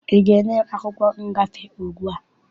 Ị ga-enye m akwụkwọ ngafe ugbua?